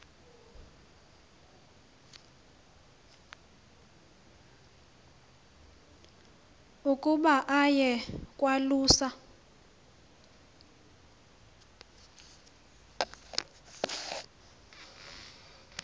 ukuba aye kwalusa